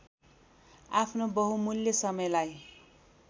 आफ्नो बहुमूल्य समयलाई